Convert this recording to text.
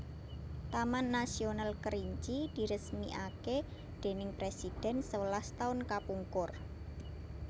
Taman Nasional Kerinci diresmiake dening presiden sewelas taun kapungkur